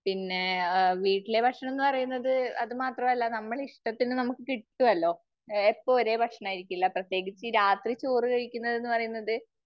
പിന്നെ ആ വീട്ടിലെ ഭക്ഷണം എന്ന് പറയുന്നത് അത് മാത്രമല്ല നമ്മുടെ ഇഷ്ടത്തിന് നമുക്ക് കിട്ടുമല്ലോ. എപ്പോ ഒരേ ഭക്ഷണം ആയിരിക്കില്ല. പ്രത്യേകിച്ച് രാത്രി ചോറ് കഴിക്കുന്നത് എന്ന് പറയുന്നത്